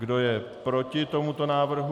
Kdo je proti tomuto návrhu?